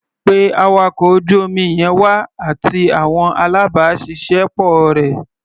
Pé awakọ̀ ojú omi yẹn wá, àti àwọn alábàáṣiṣẹ́ pọ̀ rẹ̀.